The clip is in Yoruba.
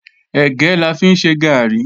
Ẹ̀gẹ́ la fi ń ṣe gààrí